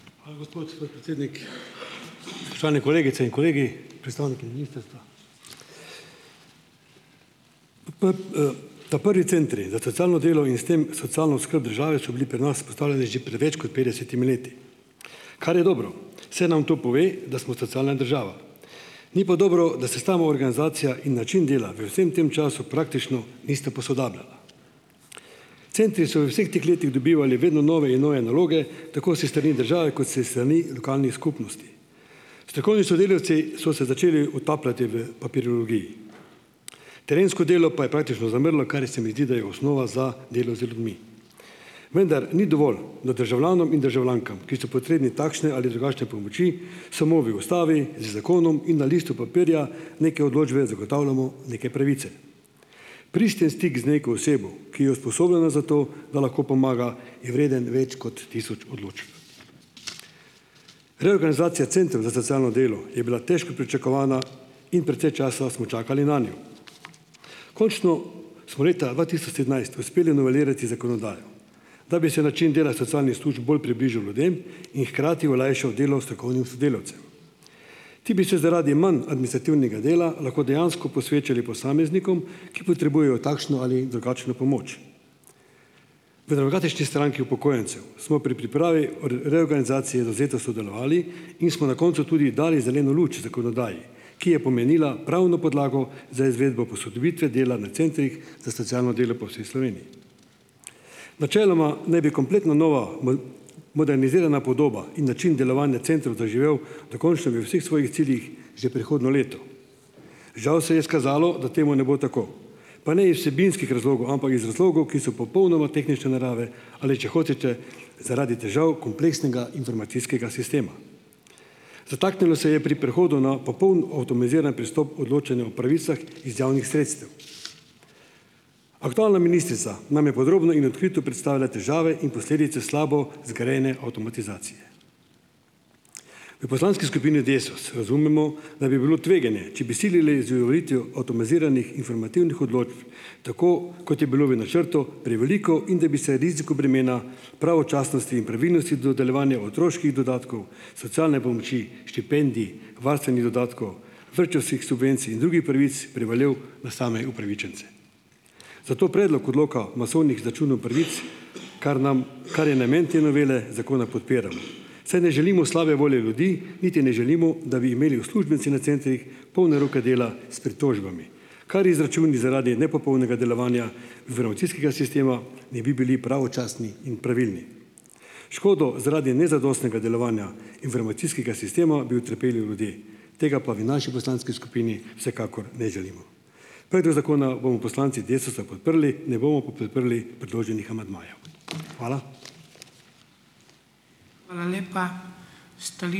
Hvala gospod podpredsednik. Spoštovane kolegice in kolegi, predstavniki ministrstva. ta prvi centri za socialno delo in s tem socialno skrb države so bili pri nas postavljeni že pred več kot pred petdesetimi leti, kar je dobro, saj nam to pove, da smo socialna država, ni pa dobro, da se samoorganizacija in način dela v vsem tem času praktično nista posodabljala. Centri so v vseh teh letih dobivali vedno nove in nove naloge, tako s strani države kot s strani lokalnih skupnosti. Strokovni sodelavci so se začeli utapljati v papirologiji, terensko delo pa je praktično zamrlo, kar je, se mi zdi, da je osnova za delo z ljudmi. Vendar ni dovolj, da državljanom in državljankam, ki so potrebni takšne ali drugačne pomoči, samo v Ustavi, z zakonom in na listu papirja neke odločbe zagotavljamo neke pravice. Pristen stik z neko osebo, ki je usposobljena za to, da lahko pomaga, je vreden več kot tisoč odločb. Reorganizacija centrov za socialno delo je bila težko pričakovana in precej časa smo čakali nanjo. Končno smo leta dva tisoč sedemnajst uspeli novelirati zakonodajo, da bi se način dela socialnih služb bolj približal ljudem in hkrati olajšal delo strokovnih sodelavcev. Ti bi se zaradi manj administrativnega dela lahko dejansko posvečali posameznikom, ki potrebujejo takšno ali drugačno pomoč. V Demokratični stranki upokojencev smo pri pripravi reorganizacije zavzeto sodelovali in smo na koncu tudi dali zeleno luč zakonodaji, ki je pomenila pravno podlago za izvedbo posodobitve dela na centrih za socialno delo po vsej Sloveniji. Načeloma naj bi kompletno nova modernizirana podoba in način delovanja centrov zaživel dokončno v vseh svojih ciljih že prihodnje leto. Žal se je izkazalo, da temu ne bo tako. Pa ne iz vsebinskih razlogov, ampak iz razlogov, ki so popolnoma tehnične narave, ali če hočete, zaradi težav kompleksnega informacijskega sistema. Zataknilo se je pri prehodu na popoln avtomatiziran pristop odločanju pravicah iz javnih sredstev. Aktualna ministrica nam je podrobno in odkrito predstavila težave in posledice slabo zgrajene avtomatizacije. V poslanski skupni Desus razumemo, da bi bilo tveganje, če bi silili z uveljavitvijo avtomatiziranih informativnih odločb, tako kot je bilo v načrtu, preveliko, in da bi se riziko bremena pravočasnosti in pravilnosti dodeljevanja otroških dodatkov, socialne pomoči, štipendij, varstvenih dodatkov, vrtčevskih subvencij in drugih pravic prevalil na same upravičence. Zato predlog odloka masovnih izračunov pravic, kar nam kar je namen te novele zakona, podpiramo, saj ne želimo slabe volje ljudi, niti ne želimo, da bi imeli uslužbenci na centrih polne roke dela s pritožbami, kar izračun zaradi nepopolnega delovanja informacijskega sistema ne bi bili pravočasni in pravilni. Škodo zaradi nezadostnega delovanja informacijskega sistema bi utrpeli ljudje, tega pa v naši poslanski skupini vsekakor ne želimo. Predlog zakona bomo poslanci Desusa podprli, ne bomo pa podprli predloženih amandmajev. Hvala.